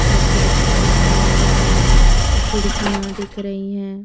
और पोस्टर लगा हुआ है खिड़कियां दिख रही हैं।